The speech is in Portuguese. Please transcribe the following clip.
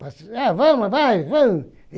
Vamos, vai, vamos.